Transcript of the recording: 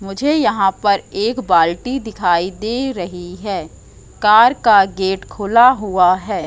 मुझे यहां पर एक बाल्टी दिखाई दे रही है कार का गेट खुला हुआ है।